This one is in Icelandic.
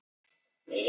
Enn leið smástund.